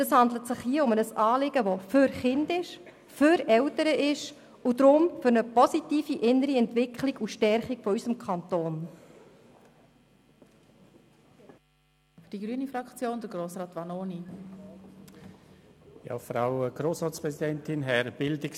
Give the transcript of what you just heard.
Es handelt sich um ein Anliegen für Kinder und Eltern sowie für eine positive innere Entwicklung und Stärkung unseres Kantons.